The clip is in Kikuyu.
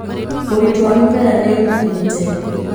ũritũ wa mĩmera nĩ ũnyihĩte.